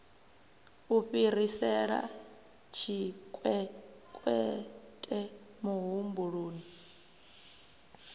u fhirisela tshikwekwete muhumbeli u